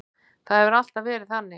Það hefur alltaf verið þannig.